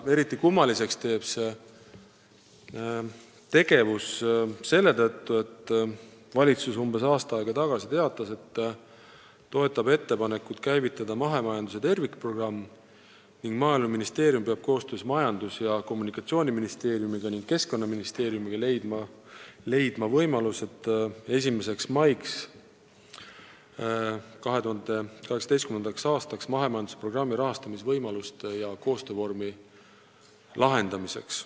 Eriti kummaliseks muudab asja see, et umbes aasta aega tagasi teatas valitsus, et toetab ettepanekut käivitada mahemajanduse tervikprogramm ning Maaeluministeerium peab koostöös Majandus- ja Kommunikatsiooniministeeriumi ning Keskkonnaministeeriumiga leidma selle programmi jaoks rahastamisvõimalused ja koostöövormi 2018. aasta 1. maiks.